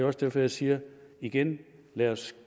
også derfor jeg siger igen lad os